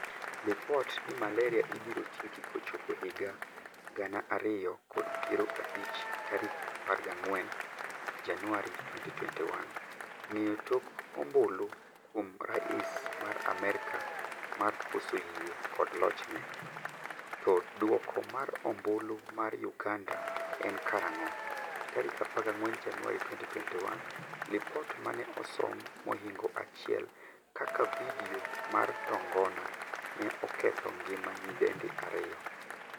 Lipot ni malaria ibiro tieki kochopo higa gana ariyo kod piero abichtarik 14 januari 2021. Ng'eyo tok ombulu kuom rais ma Amerka mar koso yie kod lochne? To duoko mar ombulu mar uganda en karang'o?14 Januari 2021Lipot mane osom mohingo 1 kaka video mar tongona ne oketho ngima nyidendi 2.